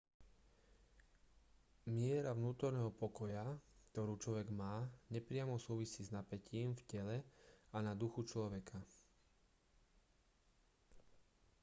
miera vnútorného pokoja ktorú človek má nepriamo súvisí s napätím v tele a na duchu človeka